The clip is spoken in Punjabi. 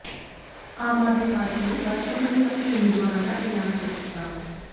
ਆਮ ਆਦਮੀ ਪਾਰਟੀ ਨੇ ਰਾਜ ਸਭਾ ਲਈ ਆਪਣੇ ਉਮੀਦਵਾਰਾਂ ਦਾ ਐਲਾਨ ਕਰ ਦਿੱਤਾ